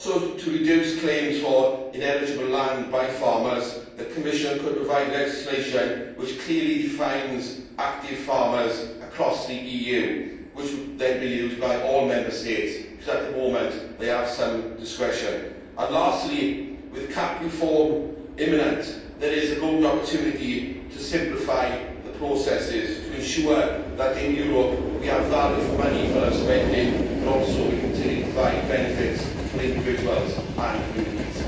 To reduce claims for ineligible land by farmers, the Commission could also provide legislation which clearly defines active farmers across the EU, which would then be used by all Member States, whereas at the moment, they have some discretion. Lastly, with CAP reform imminent, there is a golden opportunity to simplify the processes to ensure that in Europe, we have value for money for our spending, but also continue to provide benefits for individuals and communities.